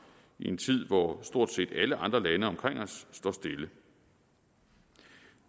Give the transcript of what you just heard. i en tid hvor stort set alle andre lande omkring os står stille det